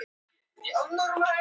Ólafur Hansson: Gissur jarl.